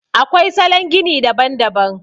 Akwai salon gini daban daban.